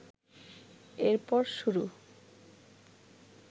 এরপর শুরু